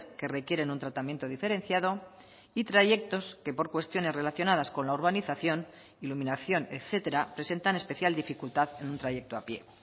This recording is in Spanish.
que requieren un tratamiento diferenciado y trayectos que por cuestiones relacionadas con la urbanización iluminación etcétera presentan especial dificultad en un trayecto a pie